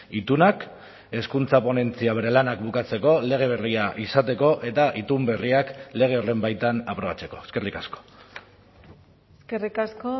itunak hezkuntza ponentzia bere lanak bukatzeko lege berria izateko eta itun berriak lege horren baitan aprobatzeko eskerrik asko eskerrik asko